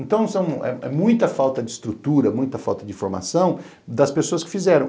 Então é muita falta de estrutura, muita falta de informação das pessoas que fizeram.